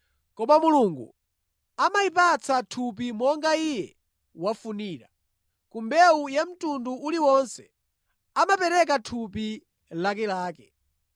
Koma Mulungu amayipatsa thupi monga Iye wafunira, ku mbewu ya mtundu uliwonse amapereka thupi lakelake.